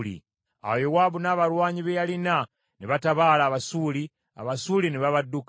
Awo Yowaabu n’abalwanyi be yalina ne batabaala Abasuuli, Abasuuli ne babadduka.